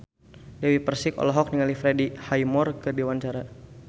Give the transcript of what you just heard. Dewi Persik olohok ningali Freddie Highmore keur diwawancara